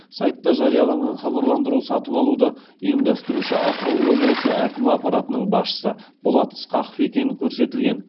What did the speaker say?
сайтта жарияланған хабарландыру сатып алуды ұйымдастырушы атырау облысы әкімі аппаратының басшысы болат ысқақов екені көрсетілген